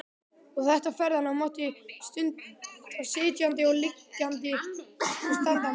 Og þetta ferðalag mátti stunda sitjandi, liggjandi og standandi